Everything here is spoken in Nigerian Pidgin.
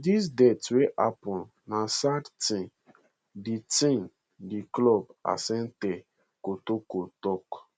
dis death wey happun na sad tin di tin di club asante kotoko tok